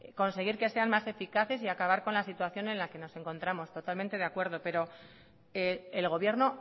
conseguir que sean más eficaces y acabar con la situación en la que nos encontramos totalmente de acuerdo pero el gobierno